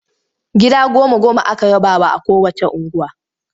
Gida goma-goma aka rabawa a kowacce unguwa.